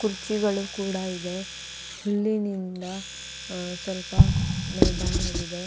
ಕುರ್ಚಿಗಳು ಕೂಡ ಇದೆ ಹುಲ್ಲಿನಿಂದ ಅಹ್ ಸ್ವಲ್ಪ ಮೈದಾನವಿದೆ.